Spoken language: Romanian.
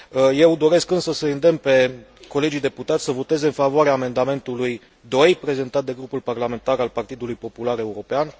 Eu doresc, însă, să îi îndemn pe colegii deputați să voteze în favoarea amendamentului 2, prezentat de grupul parlamentar al Partidului Popular European.